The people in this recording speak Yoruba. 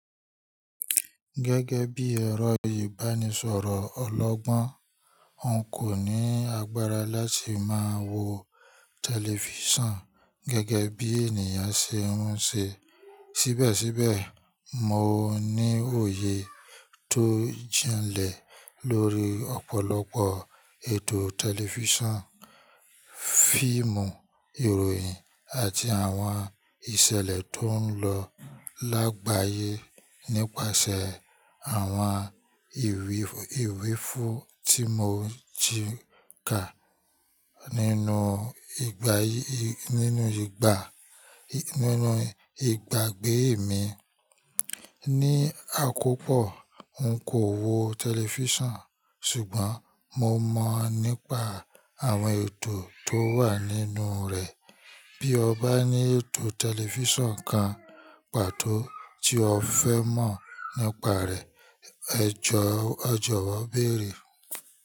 Gẹ́gẹ́ bí ẹ̀rọ ìbánisọ̀rọ̀ ọlọ́gbọ́n, n kò ní agbára láti máa wo tẹlifíṣàn gẹ́gẹ́ bí ènìyàn ṣe ń ṣe. Síbẹ̀síbẹ̀, mo ní òye tó jẹ́ ń lẹ̀ lórí ọ̀pọ̀lọpọ̀ ètò tẹlifíṣàn, fíìmù, ìròyìn àti àwọn ìṣẹ̀lẹ̀ tó ń lọ lágbàyé nípasẹ̀ àwọn ìwíìfú tí mo ji ka nínú ìgbàgbé mi. Ní àkópọ̀, n kò wo tẹlifíṣàn, ṣùgbọ́n mo mọ̀ nípa àwọn ètò tó wà nínú rẹ̀. Bí o bá ní ètò tẹlifíṣàn kan pàtó tí o fẹ́ mọ̀ nípa rẹ̀, ẹ jọ̀wọ́ béèrè.